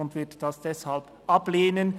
Sie wird dies deshalb ablehnen.